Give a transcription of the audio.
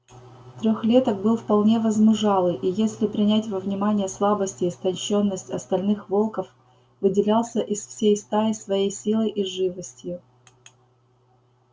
трёхлеток был вполне возмужалый и если принять во внимание слабость и истощённость остальных волков выделялся из всей стаи своей силой и живостью